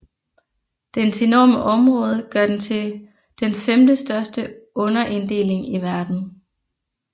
Dens enorme område gør den til den femte største underinddeling i verden